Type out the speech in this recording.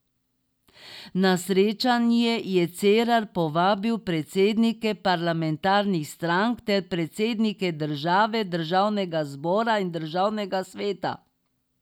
Na srečanje je Cerar povabil predsednike parlamentarnih strank ter predsednike države, državnega zbora in državnega sveta.